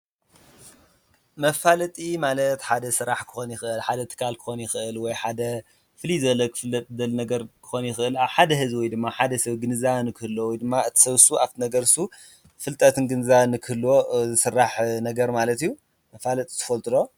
መፋለጢ ማለት ሓደ ስራሕ ክኾን ይክእል፣ ወይ ሓደ ትካል ክኾን ይክእል ወይ ሓደ ፍልይ ዝበለ ነገር ክፍለጥ ዝደሊ ነገር ክኾን ይክእል ኣብ ሓደ ህዝቢ ድማ ኣብ ሓደ ሰብ ግንዛበ ክህልዎ ወይ ድማ እቱ ሰብ ኣብቲ ነገር እሱ ፍልጠት ግንዛበን ንክህልዎ ዝስራሕ ነገር ማለት እዩ። መፋለጢ ትፈልጡ ዶ?